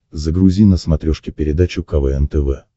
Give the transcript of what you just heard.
загрузи на смотрешке передачу квн тв